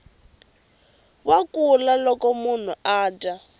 wa kula loko munhu adya